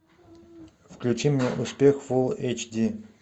включи мне успех фулл эйч ди